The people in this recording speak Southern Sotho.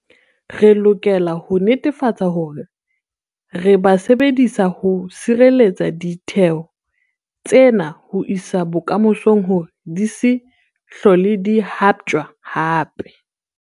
Re lokela ho netefatsa hore re ba sebedisa ho sireletsa ditheo tsena ho isa bokamosong hore di se hlole di haptjwa hape.